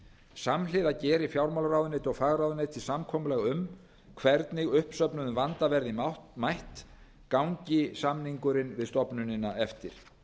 samhliða geri fjármálaráðuneyti og fagráðuneyti samkomulag um hvernig uppsöfnuðum vanda verði mætt gangi samningurinn við stofnunina eftir